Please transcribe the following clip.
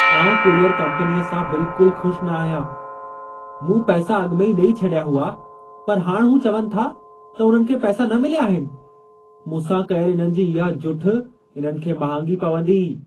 आउं कुरियर कंपनीअ सां बिल्कुलु ख़ुशि न आहियां। मूं पैसा अॻिमें ई ॾेई छॾिया हुआ, पर हाणि हू चवनि था त उन्हनि खे पैसा न मिलिया आहिनि ! मूंसां कयल इन्हनि जी इहा जुठि इन्हनि खे महांगी पवंदी!